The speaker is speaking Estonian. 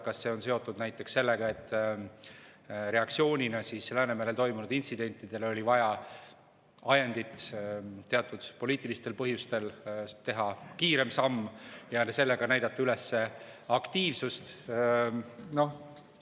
Kas see on seotud näiteks sellega, et reaktsioonina Läänemerel toimunud intsidentidele oli vaja ajendit, et teatud poliitilistel põhjustel teha kiirem samm ja sellega näidata üles aktiivsust?